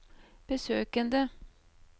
besøkene